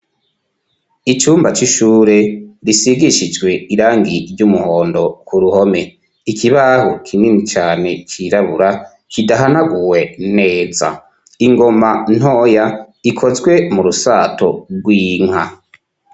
icumba c'ishure risigishijwe irangi iry'umuhondo .Ku ruhome ikibaho kinini cane cirabura kidahanaguwe neza. Ingoma ntoya ikozwe mu rusato rw'inka.